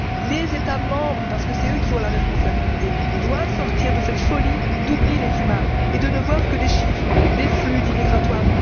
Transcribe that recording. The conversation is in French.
Les États membres, parce que ce sont eux qui ont la responsabilité, doivent sortir de cette folie d'oubli des humains et cesser de ne voir que des chiffres, des flux migratoires.